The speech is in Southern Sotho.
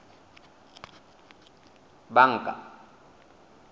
banka